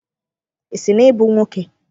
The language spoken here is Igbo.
Ị sị na ịbụ nwoke?